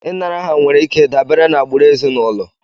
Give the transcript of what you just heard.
Ịnara aha nwere ike dabere na agbụrụ ezinụlọ